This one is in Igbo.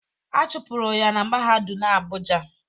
A chụpụrụ ya na mahadum Abuja